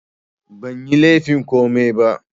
Banyi laifin komai ba